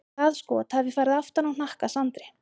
Það skot hafi farið aftan á hnakka Sandri.